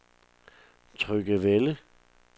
Tryggevælde